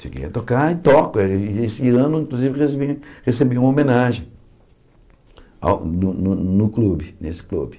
Cheguei a tocar e toco, esse ano, inclusive, recebi recebi uma homenagem ao no no clube, nesse clube.